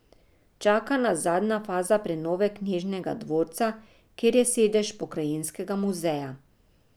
Čaka nas zadnja faza prenove knežjega dvorca, kjer je sedež pokrajinskega muzeja.